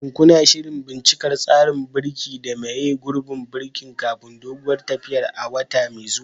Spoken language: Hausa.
Shin kuna shirin bincika tsarin birki da maye gurbin birkin kafin doguwar tafiyar a wata mai zuwa?